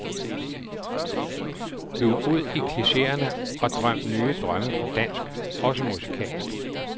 Lug ud i klicheerne og drøm nye drømme på dansk, også musikalsk.